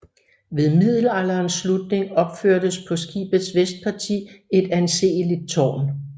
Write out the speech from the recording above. Ved middelalderens slutning opførtes på skibets vestparti et anseligt tårn